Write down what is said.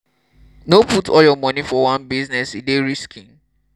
no put all your moni for one business e dey risky.